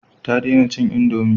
Ta dena cin indomi